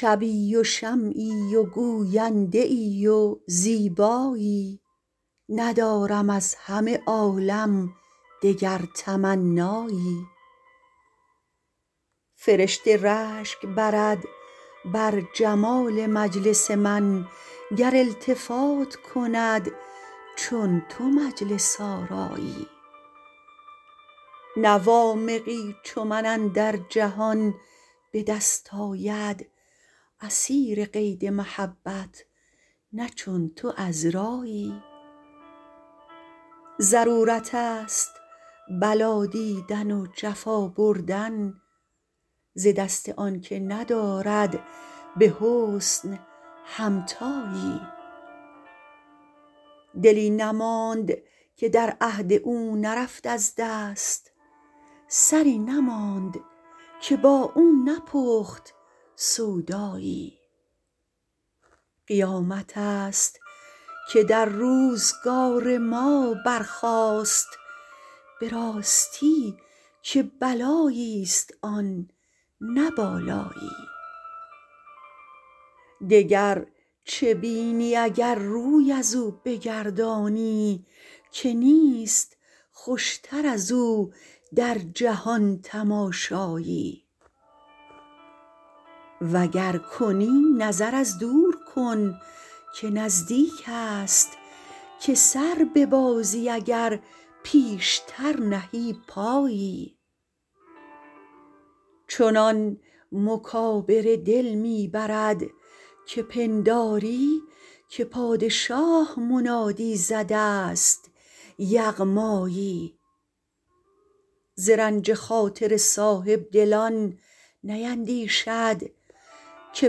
شبی و شمعی و گوینده ای و زیبایی ندارم از همه عالم دگر تمنایی فرشته رشک برد بر جمال مجلس من گر التفات کند چون تو مجلس آرایی نه وامقی چو من اندر جهان به دست آید اسیر قید محبت نه چون تو عذرایی ضرورتست بلا دیدن و جفا بردن ز دست آنکه ندارد به حسن همتایی دلی نماند که در عهد او نرفت از دست سری نماند که با او نپخت سودایی قیامتست که در روزگار ما برخاست به راستی که بلاییست آن نه بالایی دگر چه بینی اگر روی ازو بگردانی که نیست خوشتر از او در جهان تماشایی وگر کنی نظر از دور کن که نزدیکست که سر ببازی اگر پیشتر نهی پایی چنان مکابره دل می برد که پنداری که پادشاه منادی زده است یغمایی ز رنج خاطر صاحبدلان نیندیشد که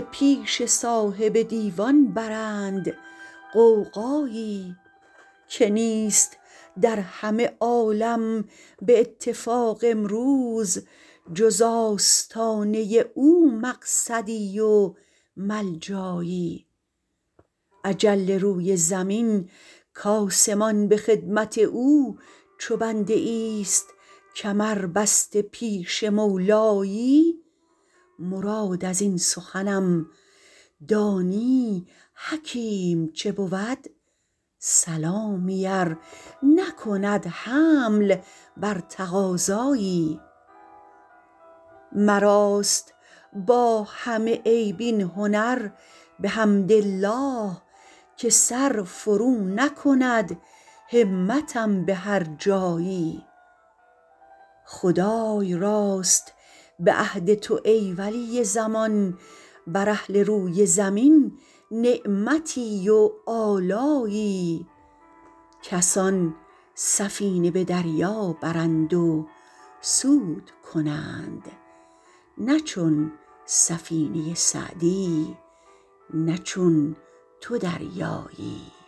پیش صاحب دیوان برند غوغایی که نیست در همه عالم به اتفاق امروز جز آستانه او مقصدی و ملجایی اجل روی زمین کآسمان به خدمت او چو بنده ایست کمربسته پیش مولایی مراد ازین سخنم دانی ای حکیم چه بود سلامی ار نکند حمل بر تقاضایی مراست با همه عیب این هنر بحمدالله که سر فرو نکند همتم به هر جایی خدای راست به عهد تو ای ولی زمان بر اهل روی زمین نعمتی و آلایی کسان سفینه به دریا برند و سود کنند نه چون سفینه سعدی نه چون تو دریایی